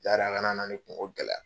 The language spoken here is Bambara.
A kana na ne kungo gɛlɛya